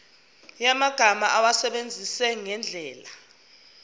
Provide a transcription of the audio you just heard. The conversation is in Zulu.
yamagama awasebenzise ngendlela